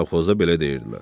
Savxozda belə deyirdilər.